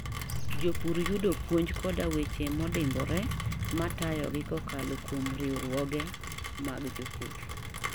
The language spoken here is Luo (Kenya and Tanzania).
Jopur yudo puonj koda weche modimbore matayogi kokalo kuom riwruoge mag jopur.